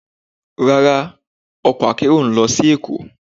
Rara, ọkọ akero n lọ si Èko.